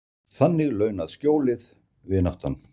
Þannig launað skjólið, vináttan.